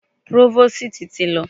Próvòstì ti lọ.